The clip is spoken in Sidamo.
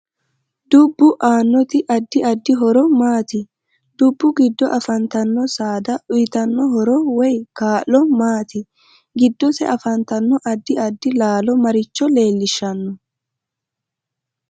Dubbu aanoti addi addi horo maati dubbu giddo afantanno saada uyiitanno horo woy kaa'lo maati giddosi afantanno addi addi laalo maricho leelishanno